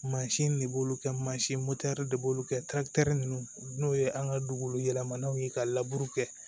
Mansin de b'olu kɛ mansin de b'olu kɛ ninnu n'o ye an ka dugu yɛlɛmananw ye ka laburu kɛ